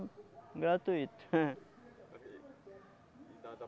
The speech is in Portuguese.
gratuito. Dada